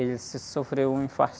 Ele se, sofreu um infarto.